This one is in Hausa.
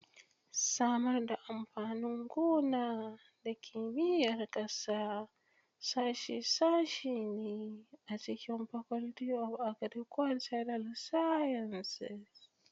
Samar da amfanin gona da Kimiyyar ƙasa sashe ne a cikin Faculty of Agricultural Sciences.